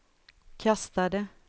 kastade